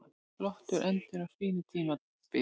Flottur endir á fínu tímabili